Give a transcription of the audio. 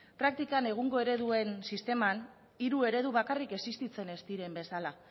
praktikan egungo ereduen sisteman hiru eredu bakarrik existitzen ez diren bezala